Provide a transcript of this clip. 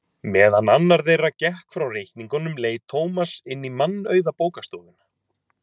Meðan annar þeirra gekk frá reikningnum leit Tómas inn í mannauða bókastofuna.